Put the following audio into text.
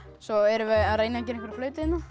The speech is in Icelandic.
svo erum við að reyna að gera flautu hérna